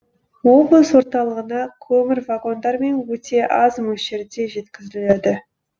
облыс орталығына көмір вагондармен өте аз мөлшерде жеткізіледі